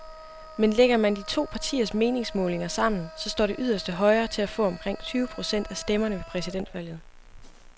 Men lægger man de to partiers meningsmålinger sammen, så står det yderste højre til at få omkring tyve procent af stemmerne ved præsidentvalget.